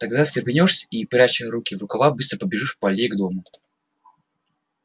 тогда встрепенёшься и пряча руки в рукава быстро побежишь по аллее к дому